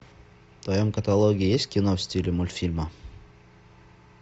в твоем каталоге есть кино в стиле мультфильма